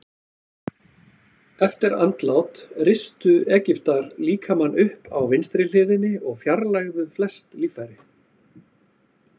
Eftir andlát ristu Egyptar líkamann upp á vinstri hliðinni og fjarlægðu flest líffæri.